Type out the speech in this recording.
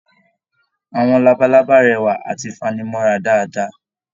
Àwọn labalábá rẹwa àti fanimọra dáadáa.